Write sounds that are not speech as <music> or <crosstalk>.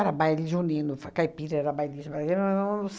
Baile Junino fa Caipira era Baile <unintelligible>